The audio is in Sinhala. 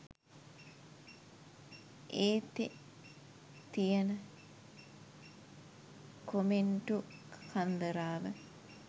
ඒතෙ තියන කොමෙන්ටු කන්දරාව